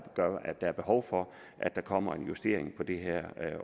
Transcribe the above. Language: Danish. gør at der er behov for at der kommer en justering på det her